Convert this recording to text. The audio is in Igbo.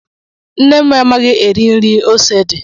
Nne m anaghị eri nri ose dị